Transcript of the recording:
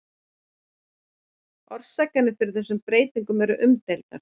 orsakirnar fyrir þessari breytingu eru umdeildar